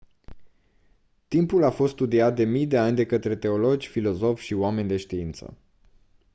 timpul a fost studiat de mii de ani de către teologi filozofi și oameni de știință